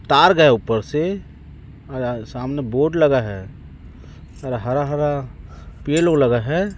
तार गए ऊपर से और सामने बोर्ड लगा है और हरा-हरा पेड़ ओड लगा है।